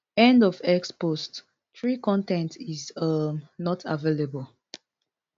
end of x post three con ten t is um not available